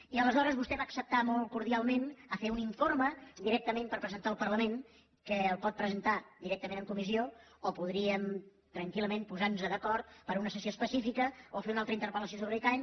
i aleshores vostè va acceptar molt cordialment fer un informe directament per presentar al parlament que el pot presentar directament en comissió o podríem tranquil·lament posar nos d’acord per a una sessió específica o fer una altra interpel·lació sobre l’icaen